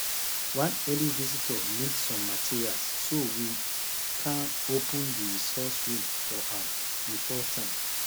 one early visitor need some materials so we kan open the resource room for am before time